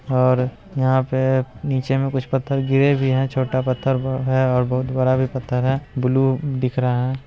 और यहां पर नीचे में कुछ पत्थर गिरे भी हैं छोटा पत्थर है बहुत बड़ा भी पत्थर है ब्लू दिख रहा है।